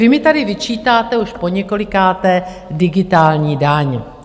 Vy mi tady vyčítáte už poněkolikáté digitální daň.